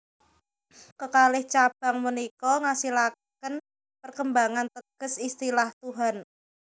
Kekalih cabang punika ngasilaken perkembangan teges istilah Tuhan